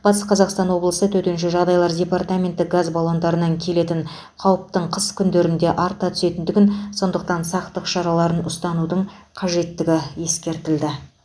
батыс қазақстан облысы төтенше жағдайлар департаменті газ баллондарынан келетін қауіптің қыс күндерінде арта түсетіндігін сондықтан сақтық шараларын ұстанудың қажеттігі ескертеді